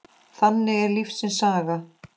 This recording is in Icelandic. Þannig er lífsins saga.